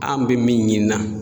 An be min ɲinina